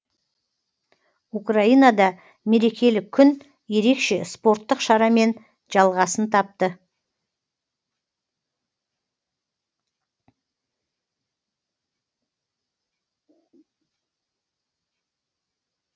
украинада мерекелік күн ерекше спорттық шарамен жалғасын тапты